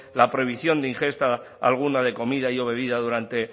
la prohibición de ingesta alguna de comida y o bebida durante